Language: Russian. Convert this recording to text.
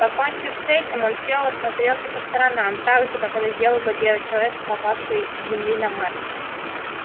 покончив с этим он сел и осмотрелся по сторонам так же как это сделал бы первый человек попавший с земли на марс